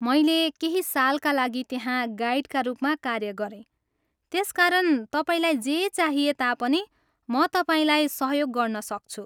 मैले केही सालका लागि त्यहाँ गाइडका रूपमा कार्य गरेँ त्यसकारण तपाईँलाई जे चाहिए तापनि म तपाईँलाई सहयोग गर्नसक्छु।